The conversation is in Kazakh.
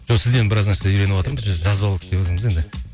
жоқ сізден біраз нәрсе үйреніватырмыз жазып алайық деватырмыз енді